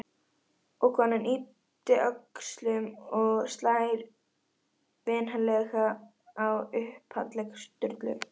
Og konan ypptir öxlum og slær vinalega á upphandlegg Sturlu.